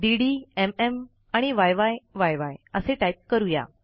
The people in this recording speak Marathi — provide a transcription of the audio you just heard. डीडी एमएम य्य्य असे टाईप करू या